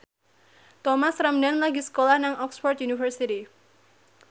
Thomas Ramdhan lagi sekolah nang Oxford university